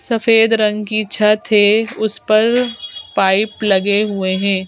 सफेद रंग की छत है उस पर पाइप लगे हुए हैं।